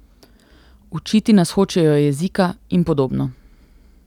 Učiti nas hočejo jezika in podobno.